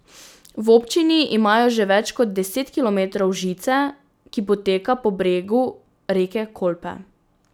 V občini imajo že več kot deset kilometrov žice, ki poteka po bregu reke Kolpe.